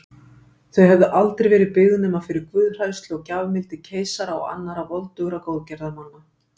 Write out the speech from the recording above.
Þau hefðu aldrei verið byggð nema fyrir guðhræðslu og gjafmildi keisara og annarra voldugra góðgerðamanna.